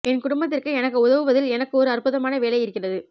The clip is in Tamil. என் குடும்பத்திற்கு எனக்கு உதவுவதில் எனக்கு ஒரு அற்புதமான வேலை இருக்கிறது